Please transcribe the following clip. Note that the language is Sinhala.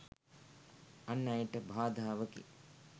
අන් අයට බාධාවකි.